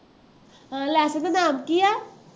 ਆਹ lesson ਦਾ ਨਾਮ ਕਿ ਹੈ